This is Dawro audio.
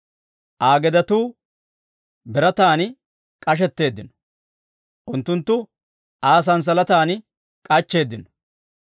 Aa gedetuu birataan k'ashetteeddino; unttunttu Aa sanssalatan k'achcheeddino.